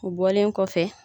U bɔlen kɔfɛ